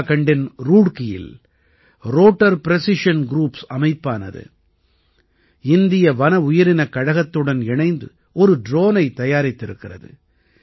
உத்திராகண்டின் ரூட்கீயில் rotor precision groups அமைப்பானது இந்திய வன உயிரினக் கழகத்துடன் இணைந்து ஒரு ட்ரோனைத் தயாரித்திருக்கிறது